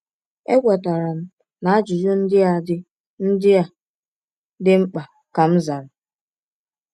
“Ekwetara m na ajụjụ ndị a dị ndị a dị mkpa,” ka m zara.